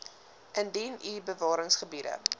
indien u bewaringsgebiede